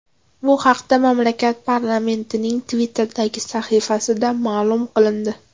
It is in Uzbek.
Bu haqda mamlakat parlamentining Twitter’dagi sahifasida ma’lum qilindi .